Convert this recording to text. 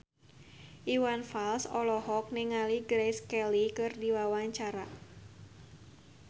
Iwan Fals olohok ningali Grace Kelly keur diwawancara